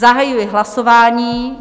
Zahajuji hlasování.